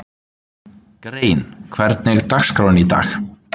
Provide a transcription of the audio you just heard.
Helgi átti góðan leik